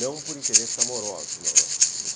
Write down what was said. Não por interesses amorosos, não, não.